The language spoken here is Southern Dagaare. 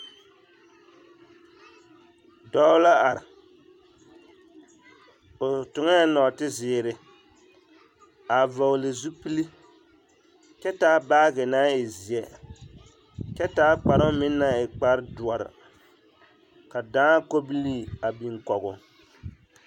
Dɔɔ la are, o toŋɛɛ nɔɔte-zeere a vɔgele zupili kyɛ taa baagi naŋ e zeɛ kyɛ taa kparoŋ meŋ naŋ e kpare doɔre ka dãã kobilii a biŋ kɔgoo.